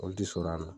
O ti sɔn a ma